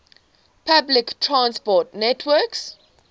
public transport network